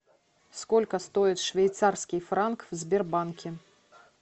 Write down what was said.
сколько стоит швейцарский франк в сбербанке